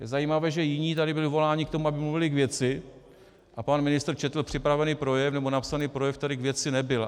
Je zajímavé, že jiní tady byli voláni k tomu, aby mluvili k věci, a pan ministr četl připravený projev, nebo napsaný projev, který k věci nebyl.